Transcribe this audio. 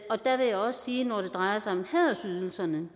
og der vil jeg også sige at når det drejer sig om hædersydelserne